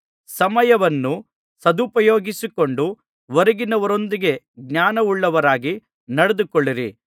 ಸಮಯವನ್ನು ಸದುಪಯೋಗಿಸಿಕೊಂಡು ಹೊರಗಿನವರೊಂದಿಗೆ ಜ್ಞಾನವುಳ್ಳವರಾಗಿ ನಡೆದುಕೊಳ್ಳಿರಿ